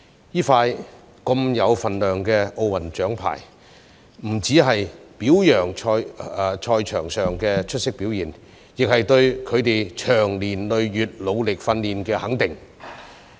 這些如此有分量的奧運獎牌，不只是表揚他們在賽場上的出色表現，亦是對他們長年累月努力訓練的肯定。